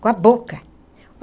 Com a boca.